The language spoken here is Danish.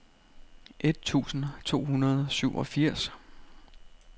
et tusind to hundrede og syvogfirs